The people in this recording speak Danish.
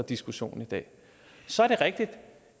diskussionen i dag så er det rigtigt at